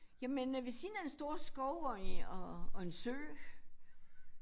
Jamen øh ved siden af en stor skov og og og en sø